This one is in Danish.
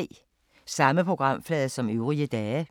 Samme programflade som øvrige dage